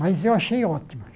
Mas eu achei ótimo.